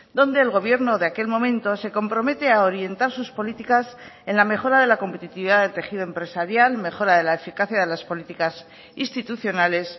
donde el gobierno de aquel momento se compromete a orientar sus políticas en la mejora de la competitividad del tejido empresarial mejora de la eficacia de las políticas institucionales